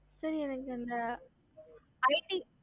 ஹம்